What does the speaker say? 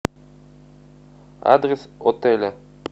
адрес отеля